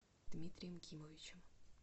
дмитрием кимовичем